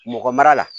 Mɔgɔ mara la